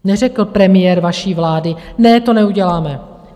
Neřekl premiér vaší vlády - ne, to neuděláme.